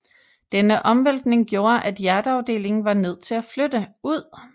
Denne omvæltning gjorde at hjerteafdelingen var nødt til at flytte ud